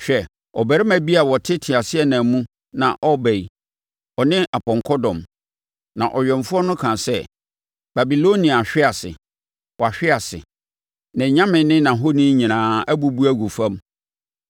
Hwɛ, ɔbarima bi a ɔte teaseɛnam mu na ɔreba yi ɔne apɔnkɔ dɔm. Na ɔwɛmfoɔ no kaa sɛ, ‘Babilonia ahwe ase, wahwe ase! Nʼanyame ne nʼahoni nyinaa abubu agu fam!’ ”